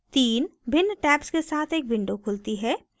तीन भिन्न tabs के साथ एक window खुलती है